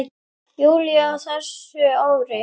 júlí á þessu ári.